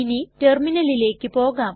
ഇനി റ്റെർമിനലിലെക് പോകാം